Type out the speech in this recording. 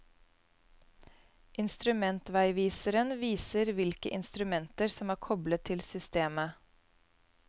Instrumentveiviseren viser hvilke instrumenter som er koblet til systemet.